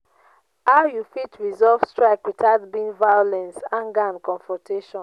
how you fit resolve strike without being violance anger and confrontation?